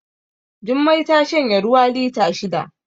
Jummai ta shanye ruwa lita shida